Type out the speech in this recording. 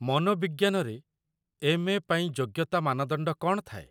ମନୋବିଜ୍ଞାନରେ M. A ଯୋଗ୍ୟତା ମାନଦଣ୍ଡ କ'ଣ ଥାଏ?